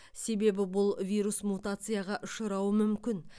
себебі бұл вирус мутацияға ұшырауы мүмкін